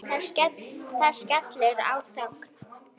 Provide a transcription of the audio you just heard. Það skellur á þögn.